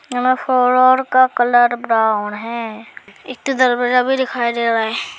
यहां में फ्लोर का कलर ब्राउन है एक ठो दरवाजा भी दिखाई दे रहा है।